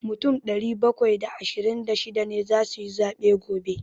Mutum ɗari bakwai da ashirin da shida ne za su yi zaɓe gobe.